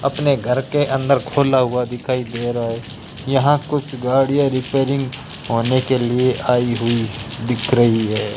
अपने घर के अंदर खोला हुआ दिखाई दे रहा है यहां कुछ गाड़ियां रिपेयरिंग होने के लिए आई हुई दिख रही है।